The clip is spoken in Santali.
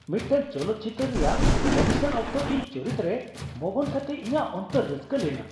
ᱢᱤᱫᱴᱟᱝ ᱪᱚᱞᱚᱛᱪᱤᱛᱟᱹᱨ ᱨᱮᱭᱟᱜ ᱚᱰᱤᱥᱚᱱ ᱚᱠᱛᱚ ᱤᱧ ᱪᱚᱨᱤᱛᱨᱮ ᱢᱚᱜᱚᱱ ᱠᱟᱛᱮ ᱤᱧᱟᱜ ᱚᱱᱛᱚᱨ ᱨᱟᱹᱥᱠᱟᱹ ᱞᱮᱱᱟ ᱾